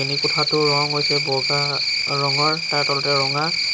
শ্ৰেণীৰ কোঠাটোৰ ৰং হৈছে বগা ৰঙৰ আৰু তাৰ তলতে ৰঙা।